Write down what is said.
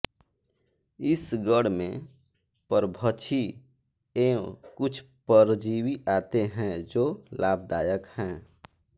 इस गण में परभक्षी एवं कुछ परजीवी आते हैं जो लाभदायक हैं